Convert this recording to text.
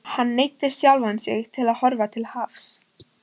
Hann neyddi sjálfan sig til að horfa til hafs.